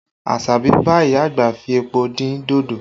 Asabi bá ìyá àgbà fi epo dín dodo